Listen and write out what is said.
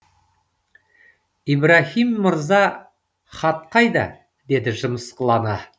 ибраһим мырза хат қайда деді жымысқылана